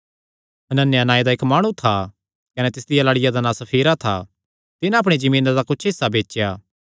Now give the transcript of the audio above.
हनन्याह नांऐ दा इक्क माणु था कने तिसदिया लाड़िया दा नां सफीरा था तिन्हां अपणी जमीना दा कुच्छ हिस्सा बेचया